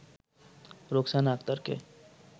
Roksana আক্তারকে